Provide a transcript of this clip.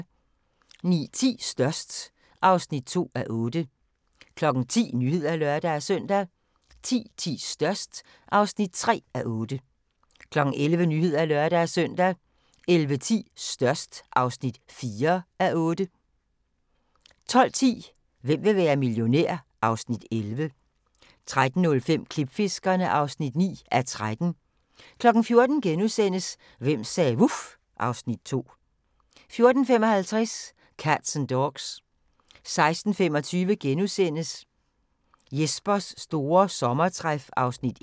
09:10: Størst (2:8) 10:00: Nyhederne (lør-søn) 10:10: Størst (3:8) 11:00: Nyhederne (lør-søn) 11:10: Størst (4:8) 12:10: Hvem vil være millionær? (Afs. 11) 13:05: Klipfiskerne (9:13) 14:00: Hvem sagde vuf? (Afs. 2)* 14:55: Cats & Dogs 16:25: Jespers store sommertræf (Afs. 1)*